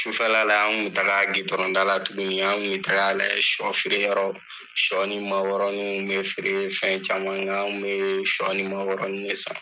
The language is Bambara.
Sufɛla la n kun bɛ taga gidɔrɔn da la tuguni, an bɛ taga lajɛ sɔ feere yɔrɔ, sɔ ni makɔrɔninw bɛ feere, fɛn caman an kun bɛ sɔ ni makɔrɔnin ne san.